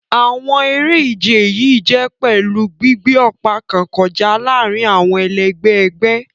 Àwọn eré-ìje yìí jè pèlú gbígbé òpa kàn kọjá láàrin àwọn ẹlègbé ègbé.